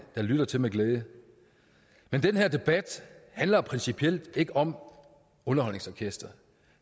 der lytter til med glæde men den her debat handler principielt ikke om underholdningsorkestret